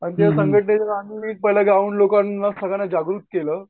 आणि त्या संगटनेतून जाऊन आम्ही सगळ्या लोकांना जागृत केलं.